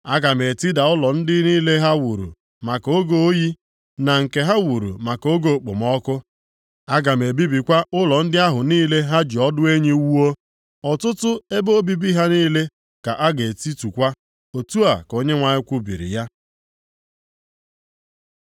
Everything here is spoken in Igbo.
Aga m etida ụlọ ndị niile ha wuru maka oge oyi, na nke ha wuru maka oge okpomọkụ; aga m ebibikwa ụlọ ndị ahụ niile ha ji ọdụ enyi wuo. Ọtụtụ ebe obibi ha niile ka a ga-etitukwa.” Otu a ka Onyenwe anyị kwubiri ya.